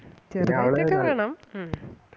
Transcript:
ചെറുതായിട്ട് വേണം ഉം